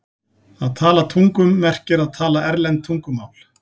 Að tala tungum merkir að tala erlend tungumál.